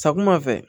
Sakuma fɛ